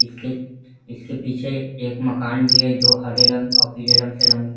इसके इसके पीछे एक मकान भी है जो हारे रंग और पीले रंग से रंग --